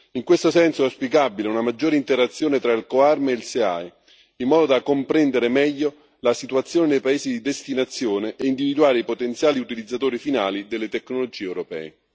In questo senso è auspicabile una maggiore interazione tra il COARM e il SIAE, in modo da comprendere meglio la situazione nei paesi di destinazione e individuare i potenziali utilizzatori finali delle tecnologie europee.